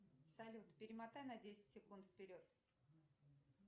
салют перемотай на десять секунд вперед